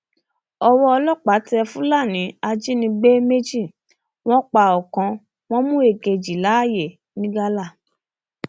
ọwọ ọlọpàá tẹ fúlàní ajínigbé méjì wọn pa ọkàn wọn mú èkejì láàyè ńigalà